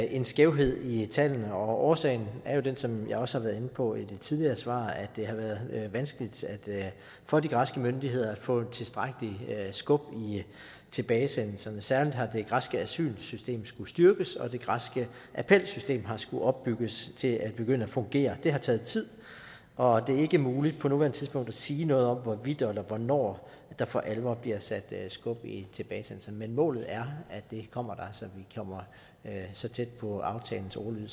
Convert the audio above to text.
en skævhed i tallene og årsagen er jo den som jeg også været inde på i det tidligere svar at det har været vanskeligt for de græske myndigheder at få tilstrækkelig skub i tilbagesendelserne særlig har det græske asylsystem skullet styrkes og det græske appelsystem har skullet opbygges til at begynde at fungere det har taget tid og det er ikke muligt på nuværende tidspunkt at sige noget om hvorvidt eller hvornår der for alvor bliver sat skub i tilbagesendelserne men målet er at det kommer så vi kommer så tæt på aftalens ordlyd